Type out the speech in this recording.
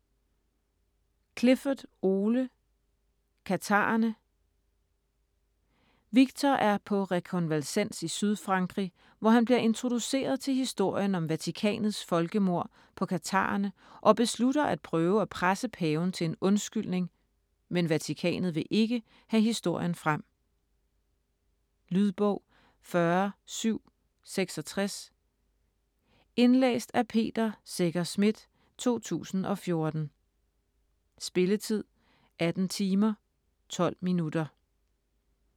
Clifford, Ole: Katharerne Viktor er på rekonvalescens i Sydfrankrig, hvor han bliver introduceret til historien om Vatikanets folkemord på katharerne og beslutter at prøve at presse Paven til en undskyldning, men Vatikanet vil ikke have historien frem. Lydbog 40766 Indlæst af Peter Secher Schmidt, 2014. Spilletid: 18 timer, 12 minutter.